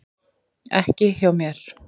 Ekki hjá mér.